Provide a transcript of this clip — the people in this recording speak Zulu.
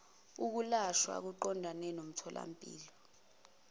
ukulashwa kuqondene nomtholampilo